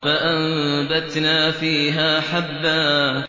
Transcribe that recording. فَأَنبَتْنَا فِيهَا حَبًّا